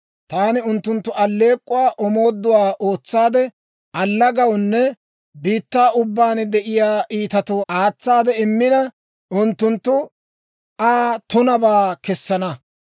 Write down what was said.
Taani unttunttu alleek'k'uwaa omooduwaa ootsaade, allagawunne biittaa ubbaan de'iyaa iitatoo aatsaade immina, unttunttu Aa tunabaa kessana.